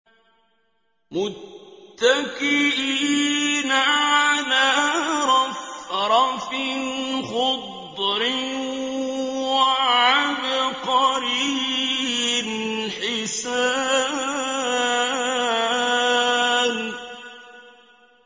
مُتَّكِئِينَ عَلَىٰ رَفْرَفٍ خُضْرٍ وَعَبْقَرِيٍّ حِسَانٍ